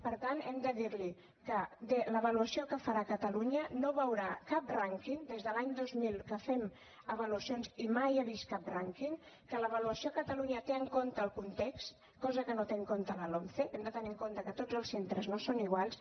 per tant hem de dirli que en l’avaluació que farà catalunya no veurà cap rànquing des de l’any dos mil que fem avaluacions i mai ha vist cap rànquing que l’avaluació a catalunya té en compte el context cosa que no té en compte la lomce hem de tenir en compte que tots els centres no són iguals